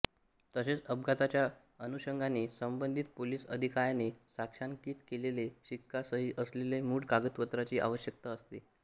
तसेच अपघाताच्या अनुषंगाने संबधीत पोलीस अधिकायाने साक्षांकित केलेल्या शिक्का सही असलेले मूळ कागदपत्राची आवश्यकता असते